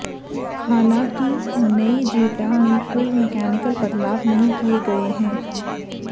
हालांकि नई जेटा में कोई मकैनिकल बदलाव नहीं किए गए हैं